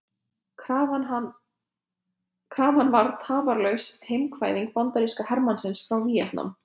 Krafan var Tafarlaus heimkvaðning bandarískra hermanna frá Víetnam.